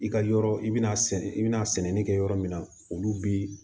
I ka yɔrɔ i bɛna sɛnɛ i bɛna sɛnɛ kɛ yɔrɔ min na olu bi